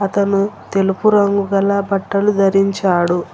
తను తెలుపు రంగు గల బట్టలు ధరించాడు.